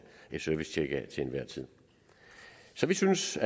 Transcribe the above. et servicetjek af så vi synes